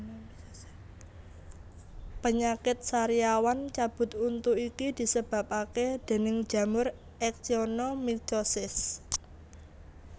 Penyakit sariawan cabut untu iki disebabake déning jamur actionomycosis